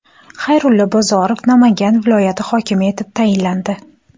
Xayrullo Bozorov Namangan viloyati hokimi etib tayinlandi.